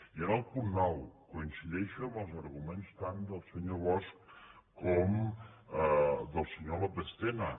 i en el punt nou coincideixo amb els arguments tant del senyor bosch com del senyor lópez tena